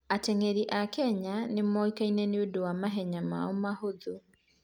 Ateng'eri a Kenya nĩ moĩkaine nĩ ũndũ wa mahenya mao mahũthũ.